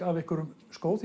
af einhverjum skó